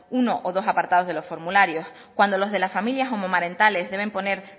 uno o dos apartados de los formularios cuando los de las familias homomarentales deben poner